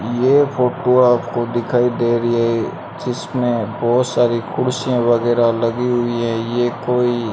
ये फोटो आपको दिखाई दे रही है जिसमें बहुत सारी कुर्सियां वगैरह लगी हुई हैं ये कोई --